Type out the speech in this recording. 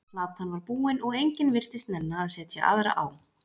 Platan var búin og enginn virtist nenna að setja aðra á.